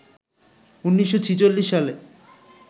১৯৪৬ সালে